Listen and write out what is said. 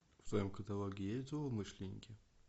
в твоем каталоге есть злоумышленники